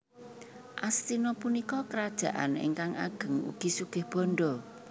Astina punika krajaan ingkang ageng ugi sugih bandha